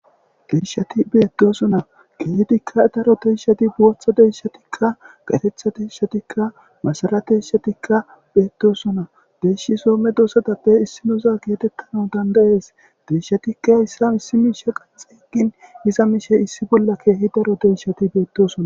Deyishshaikka betosona heeyit deyisahat botha deyishatikka masara deyishatikka betosona hayis Soho medosatappe issinoza gidanaau danidaees